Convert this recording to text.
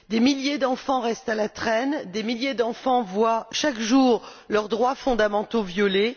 Des milliers d'enfants restent à la traîne, des milliers d'enfants voient chaque jour leurs droits fondamentaux violés.